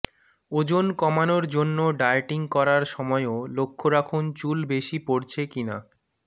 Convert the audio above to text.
ওজন কমানোর জন্য ডায়েটিং করার সময়ও লক্ষ্য রাখুন চুল বেশি পড়ছে কিনা